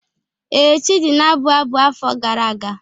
Ee, Chidi na-abụ abụ afọ gara aga.